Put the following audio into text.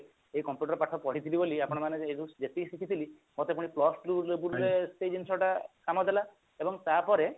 ଏଇ computer ପାଠ ପଢିଥିଲି ବୋଲି ଆପଣମାନାଙ୍କ ଠାରୁ ଯେତିକି ଶିଖିଥିଲି ତାଠୁ ପୁଣି plus two label ରେ ସେଇ ଜିନିଷଟା କାମ ଦେଲା ଏବଂ ତା ପରେ